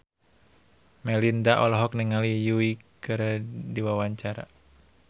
Melinda olohok ningali Yui keur diwawancara